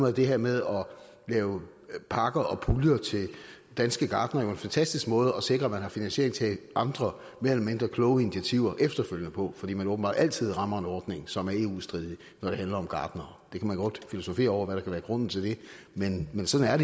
er det her med at lave pakker og puljer til danske gartnere jo en fantastisk måde at sikre at man har finansiering til andre mere eller mindre kloge initiativer efterfølgende på fordi man åbenbart altid rammer en ordning som er eu stridig når det handler om gartnere det kan man godt filosofere over hvad der kan være grunden til men men sådan er